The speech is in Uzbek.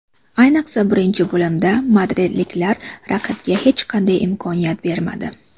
Ayniqsa birinchi bo‘limda madridliklar raqibga hech qanday imkoniyat bermadi.